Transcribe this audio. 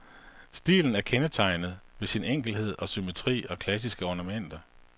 Stilen er kendetegnet ved sin enkelhed og symmetri og klassiske ornamenter.